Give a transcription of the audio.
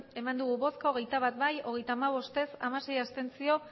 bai hogeita bat ez hogeita hamabost abstentzioak